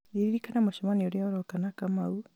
ririkana mũcemanio ũrĩa ũroka na kamau